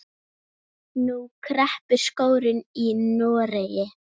Nú kreppir skórinn í Noregi.